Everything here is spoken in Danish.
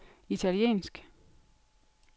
italiensk